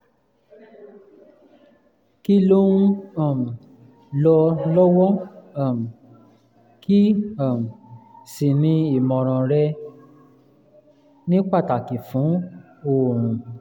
kí ló ń um lọ lọ́wọ́ um kí um sì ni ìmọ̀ràn rẹ (ní pàtàkì fún oorun)?